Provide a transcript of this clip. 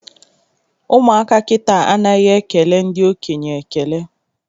Ụmụaka kịta anaghị ekele ndị okenye ekele